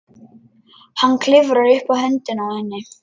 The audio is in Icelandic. Hann klifrar upp á höndina á henni.